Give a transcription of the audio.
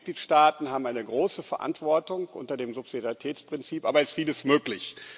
auch die Mitgliedstaaten haben eine große Verantwortung, unter dem Subsidiaritätsprinzip aber ist vieles möglich.